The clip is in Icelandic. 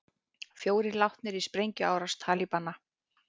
Fjórir látnir í sprengjuárás Talibana